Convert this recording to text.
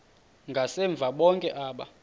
ngasemva bonke aba